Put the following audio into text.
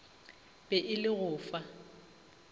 be e le go fa